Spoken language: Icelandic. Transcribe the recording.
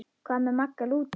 Hvað með Magga lúdó?